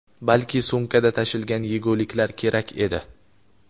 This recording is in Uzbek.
balki sumkada tashilgan yeguliklar kerak edi.